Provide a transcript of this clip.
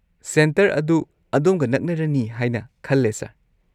Centre ꯑꯗꯨ ꯑꯗꯣꯝꯒ ꯅꯛꯅꯔꯅꯤ ꯍꯥꯏꯅ ꯈꯜꯂꯦ ꯁꯔ꯫